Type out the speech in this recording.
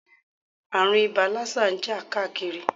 Ààrùn ibà lásà ń jà káàkiri.